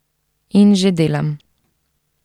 In že delam.